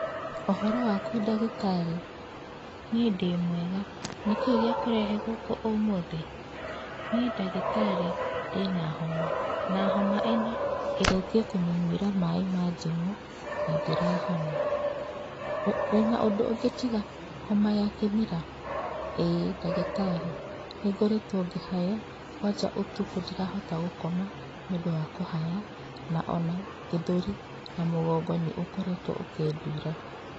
Ũhoro waku ndagĩtarĩ? Niĩ ndĩ mwega. Nĩkĩĩ gĩkũrehete gũkũ ũmũthĩ? Niĩ ndagĩtarĩ ndĩna homa na homa ĩno ngeretie kũmĩyuĩra maaĩ ma ndimũ na ndĩrahona. Wĩna ũndũ ũngĩ tiga homa ya kĩmira? ĩĩ ndagĩtarĩ, nĩ ngoretwo ngĩhaya kwanja ũtukũ ndirahota gũkoma nĩũndu wa kũhaya, na ona gĩthũri na mũgongo nĩũkoretwo ũkĩndura.